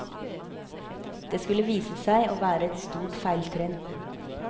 Det skulle vise seg å være et stort feiltrinn.